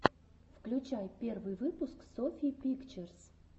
включай первый выпуск софьи пикчерз